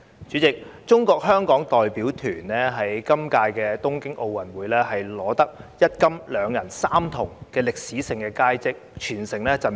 主席，中國香港代表團在今屆東京奧運會取得一金、兩銀、三銅的歷史性佳績，全城振奮。